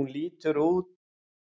Hún